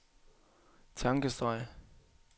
tankestreg